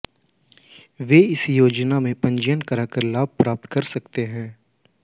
वे इस योजना में पंजीयन कराकर लाभ प्राप्त कर सकते है